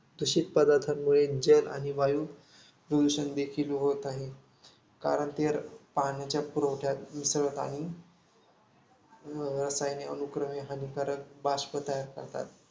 दूषित पदार्थांमुळे जल आणि वायू प्रदूषणदेखील होत आहे. कारण ते पाण्याच्या पुरवठ्यात मिसळतात आणि रसायने हानिकारक बाष्प तयार करतात.